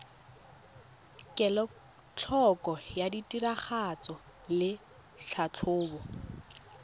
kelotlhoko ya tiragatso le tlhatlhobo